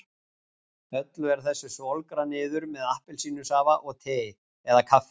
Öllu er þessu svolgrað niður með appelsínusafa og tei eða kaffi.